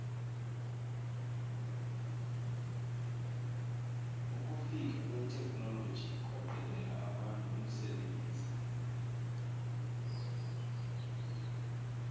ukufika kwetheknoloji kwaqedela abantu umsebenzi